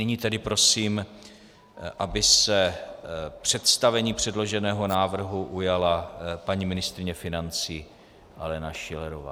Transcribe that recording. Nyní tedy prosím, aby se představení předloženého návrhu ujala paní ministryně financí Alena Schillerová.